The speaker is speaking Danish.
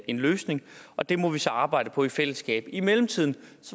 en løsning og det må vi så arbejde på i fællesskab i mellemtiden